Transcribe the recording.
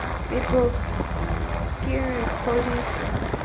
phepo k g r kgodiso